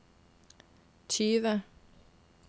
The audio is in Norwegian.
tyve